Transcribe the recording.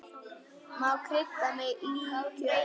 Má krydda með líkjör.